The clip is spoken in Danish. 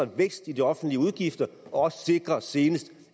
vækst i de offentlige udgifter og også senest